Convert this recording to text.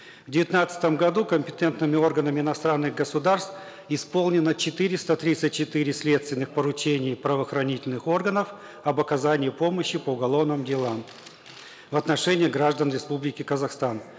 в девятнадцатом году компетентными ораганами иностранных государств исполнено четыреста тридцать четыре следственных поручений правоохранительных органов об оказании помощи по уголовным делам в отношении граждан республики казахстан